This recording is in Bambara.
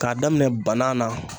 K'a daminɛ bana na